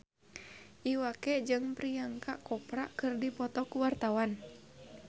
Iwa K jeung Priyanka Chopra keur dipoto ku wartawan